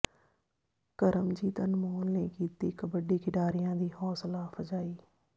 ਕਰਮਜੀਤ ਅਨਮੋਲ ਨੇ ਕੀਤੀ ਕਬੱਡੀ ਖਿਡਾਰੀਆਂ ਦੀ ਹੌਾਸਲਾ ਅਫ਼ਜਾਈ